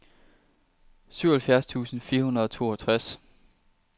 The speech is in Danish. syvoghalvfjerds tusind fire hundrede og toogtres